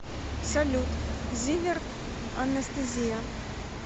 салют зиверт анестезия